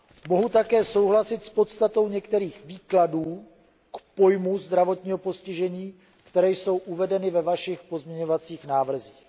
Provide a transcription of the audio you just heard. Mohu také souhlasit s podstatou některých výkladů k pojmu zdravotního postižení, které jsou uvedeny ve vašich pozměňovacích návrzích.